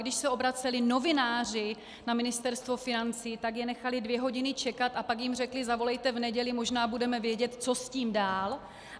Když se obraceli novináři na Ministerstvo financí, tak je nechali dvě hodiny čekat a pak jim řekli - zavolejte v neděli, možná budeme vědět, co s tím dál.